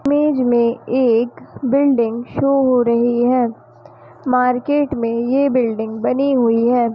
Image में एक building show हो रही है मार्केट मे ये बिल्डिंग बनी हुई है।